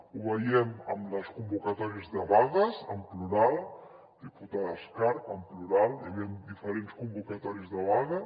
ho veiem en les convocatòries de vagues en plural diputada escarp en plural hi havien diferents convocatòries de vaga